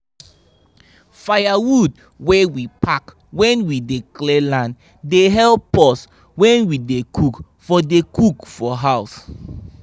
firewood wey we pack when we dey clear land dey help us when we dey cook for dey cook for house